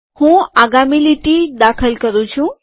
હું આગામી લીટી દાખલ કરું છું